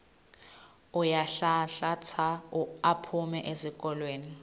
uyanhlanhlatsa aphume esihlokweni